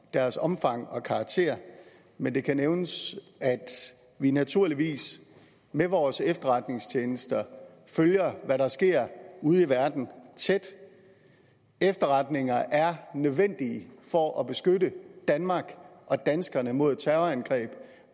deres omfang og karakter men det kan nævnes at vi naturligvis med vores efterretningstjenester følger hvad der sker ude i verden tæt efterretninger er nødvendige for at beskytte danmark og danskerne mod terrorangreb